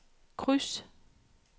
kryds